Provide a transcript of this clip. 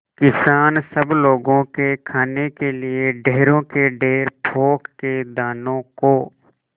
किसान सब लोगों के खाने के लिए ढेरों के ढेर पोंख के दानों को